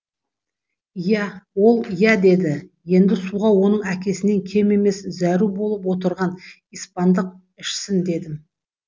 иә ол иә деді енді суға оның әкесінен кем емес зәру болып отырған испандық ішсін дедім